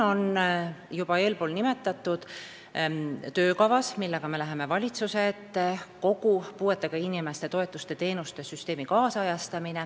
Me läheme valitsuse ette juba eespool nimetatud töökavaga, et ajakohastada kogu puuetega inimeste toetuste ja teenuste süsteem.